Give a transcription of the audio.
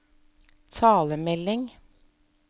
talemelding